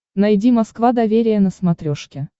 найди москва доверие на смотрешке